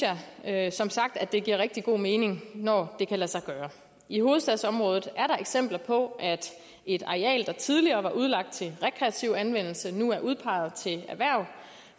jeg som sagt at det giver rigtig god mening når det kan lade sig gøre i hovedstadsområdet er der eksempler på at et areal der tidligere var udlagt til rekreativ anvendelse nu er udpeget til erhverv